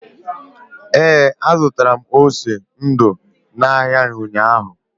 Ee, azụrụ m ose ndu n’ahịa ụnyahụ.